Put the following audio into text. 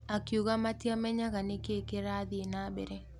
Akiuga matiamenyaga nĩkĩ kĩrathie na mbere.